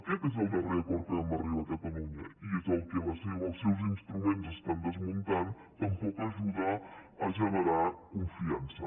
aquest és el darrer acord a què vam arribar a catalunya i és el que els seus instruments estan desmuntant tampoc ajuda a generar confiança